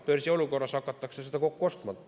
Börsiolukorras hakatakse seda kokku ostma.